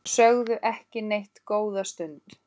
Sögðu ekki neitt góða stund.